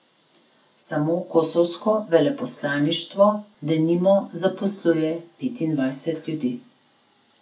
Samo kosovsko veleposlaništvo, denimo, zaposluje petindvajset ljudi.